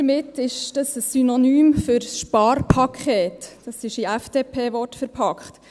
Damit war ein Synonym für Sparpaket gemeint, in FDP-Worte verpackt.